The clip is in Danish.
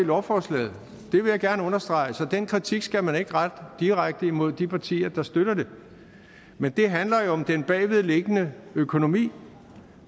lovforslaget det vil jeg gerne understrege så den kritik skal man ikke rette direkte mod de partier der støtter det men det handler jo om den bagvedliggende økonomi